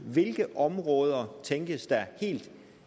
hvilke områder tænkes der helt